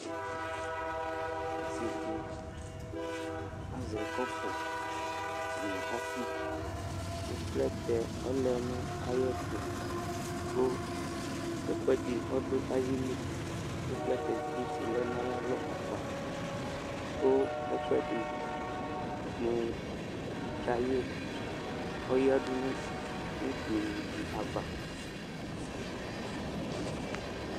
Ɔsɩ dɩ azɛ kɔpʋnuyǝ ɔfɩ kʋ plɛtɛ ɔlɛ nʋ ɔdʋ ayɛtʋ kʋ ɛkʋɛdɩ ɔdʋ ayili Kʋ plɛtɛ dɩ bɩ tsɩlɛ nʋ ayalɔ akpa kʋ ɛkʋɛdɩ mʋ kaye ɔyǝdu nʋ utunu dɩ ava